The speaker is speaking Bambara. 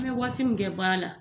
I bɛ waati min kɛ baara la